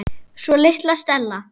Svo litla Stella.